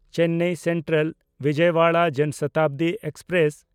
ᱪᱮᱱᱱᱟᱭ ᱥᱮᱱᱴᱨᱟᱞ–ᱵᱤᱡᱚᱭᱟᱣᱟᱲᱟ ᱡᱚᱱ ᱥᱚᱛᱟᱵᱫᱤ ᱮᱠᱥᱯᱨᱮᱥ